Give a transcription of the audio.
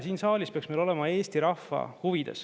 Siin saalis peaks meil olema Eesti rahva huvid.